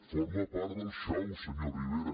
forma part del xou senyor rivera